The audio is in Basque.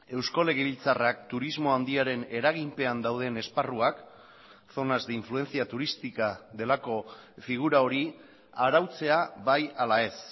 eusko legebiltzarrak turismo handiaren eraginpean dauden esparruak zonas de influencia turística delako figura hori arautzea bai ala ez